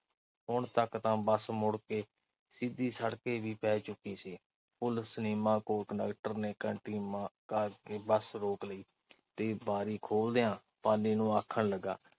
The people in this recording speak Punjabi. ਹੁਣ ਤੱਕ ਤਾਂ ਬੱਸ ਮੁੜ ਕੇ ਸਿੱਧੀ ਸੜਕੇ ਵੀ ਪੈ ਚੁੱਕੀ ਸੀ। ਸਿਨੇਮਾ ਕੋਲ ਕੰਡਕਟਰ ਨੇ ਘੰਟੀ ਮਾ ਅਹ ਕਰ ਕੇ ਬੱਸ ਰੋਕ ਲਈ ਤੇ ਬਾਰੀ ਖੋਲ੍ਹਦਿਆਂ ਪਾਲੀ ਨੂੰ ਆਖਣ ਲੱਗਾ।